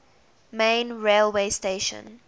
main railway station